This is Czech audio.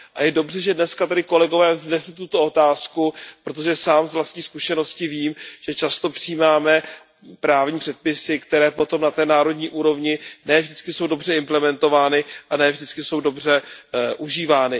A je dobře, že dneska tady kolegové vznesli tuto otázku, protože sám z vlastní zkušenosti vím, že často přijímáme právní předpisy, které potom na té národní úrovni ne vždycky jsou dobře implementovány a ne vždycky jsou dobře užívány.